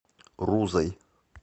рузой